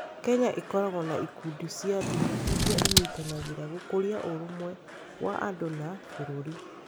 Kenya ĩkoragwo na ikundi cia ndini iria inyitanagĩra gũkũria ũrũmwe wa andũ na bũrũri.